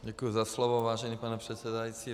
Děkuji za slovo, vážený pane předsedající.